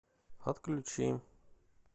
отключи